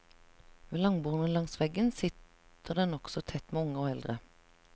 Ved langbordene langs veggene sitter det nokså tett med unge og eldre.